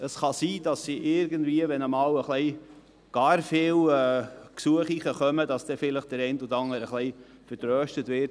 Es kann sein, dass der eine oder andere, sollten einmal gar viele Gesuche eingehen, aufs nächste Jahr vertröstet wird.